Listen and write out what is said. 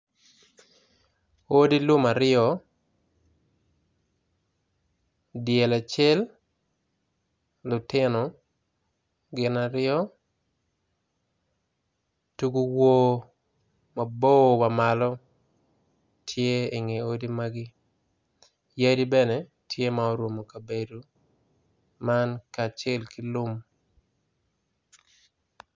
Odi lum arto dyel acel lutino gin aryo tugo wor mabor wamalo tye i nge odi magi yadi bene tye ma orumo kabedo man kacel kilum.